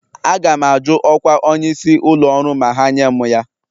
Aga m ajụ ọkwa onyeisi ụlọ ọrụ ma ha nye m ya